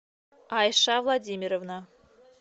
айша владимировна